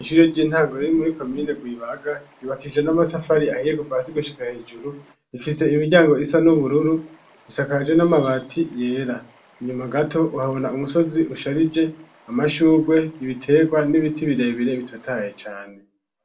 Ishure ry'intango riri muri komine Rwibaga, ryubakishije n'amatafari ahiye kuva hasi gushika hejuru, ifise imiryango isa n'ubururu, isakaje n'amabati yera, inyuma gato uhabona umusozi usharije, amashugwe ibitegwa, n'ibiti birebire bitotahaye cane.